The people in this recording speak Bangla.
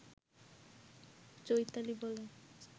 চৈতালি বলে